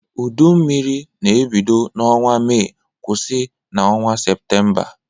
Udu mmiri na-ebido n’ọnwa Mee kwụsị n’ọnwa Seputemba.